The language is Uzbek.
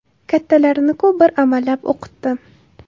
Kattalarini-ku bir amallab o‘qitdim.